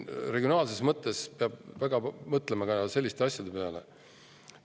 Regionaalses mõttes peab väga mõtlema ka selliste asjade peale.